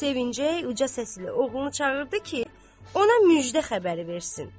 Sevincək uca səslə oğlunu çağırdı ki, ona müjdə xəbəri versin.